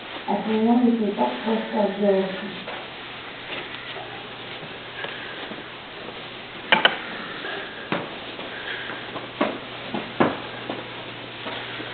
от меня ведь не так просто отделаться